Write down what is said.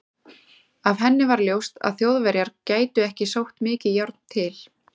Af henni var ljóst, að Þjóðverjar gætu ekki sótt mikið járn til